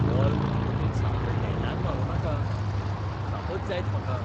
Ball म्हजे वटेन सामको नेटान मारूं नाका. दुखापत जायत म्हाका.